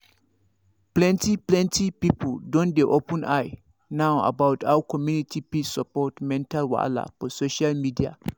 plenty plenty people don dey open eye now about how community fit support mental wahala for social media